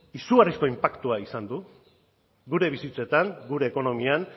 izugarrizko inpaktua izan du gure bizitzetan gure ekonomian